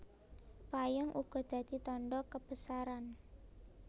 Payung uga dadi tandha kebesaran